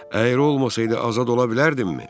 Əyri olmasaydı azad ola bilərdimmi?